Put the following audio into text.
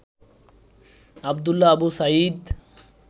Abdullah Abu Sayeed